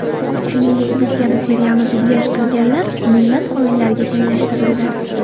Shuningdek, bu kabi serialni dublyaj qilganlar millat xoinlariga tenglashtirildi .